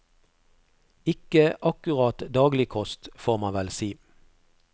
Ikke akkurat daglig kost, får man vel si.